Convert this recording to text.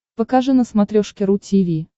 покажи на смотрешке ру ти ви